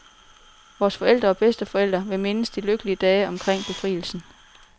Vores forældre og bedsteforældre vil mindes de lykkelige dage omkring befrielsen.